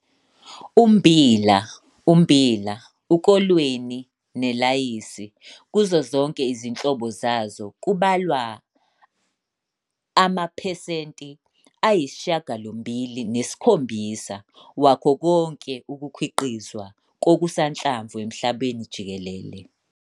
Ummbila, ummbila, ukolweni nelayisi - kuzo zonke izinhlobo zazo - kubalwa amaphesenti ayi-87 wakho konke ukukhiqizwa kokusanhlamvu emhlabeni jikelele.